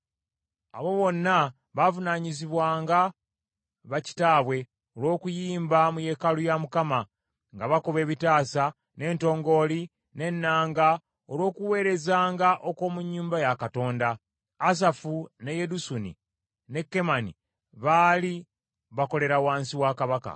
Abo bonna baavunaanyizibwanga ba kitaabwe, olw’okuyimba mu yeekaalu ya Mukama , nga bakuba ebitaasa, n’entongooli, n’ennanga, olw’okuweerezanga okw’omu nnyumba ya Katonda. Asafu, ne Yedusuni, ne Kemani baali bakolera wansi kabaka.